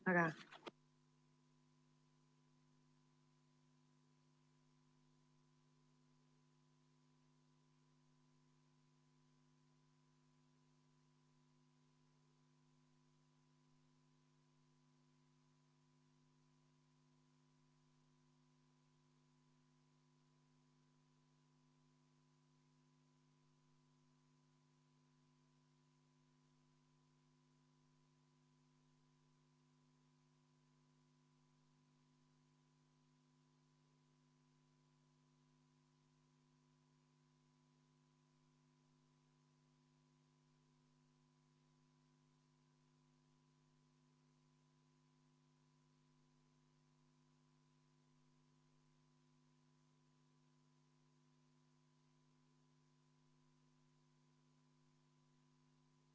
Väga hea!